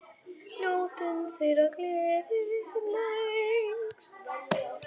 Njótum þeirrar gleði sem lengst.